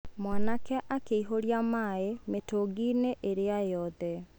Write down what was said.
Mwanake akĩihũria maaĩ mĩtũngi-inĩ ĩrĩa yothe.